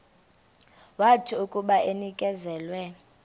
wathi akuba enikezelwe